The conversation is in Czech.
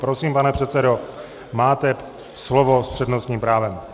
Prosím, pane předsedo, máte slovo s přednostním právem.